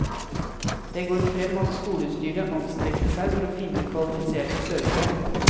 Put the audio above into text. Det går frem at skolestyret anstrengte seg for å finne kvalifiserte søkere.